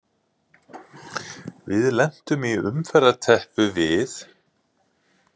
Við lentum í umferðarteppu við